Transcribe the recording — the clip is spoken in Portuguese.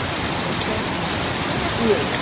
Então, assim, quem é Deus?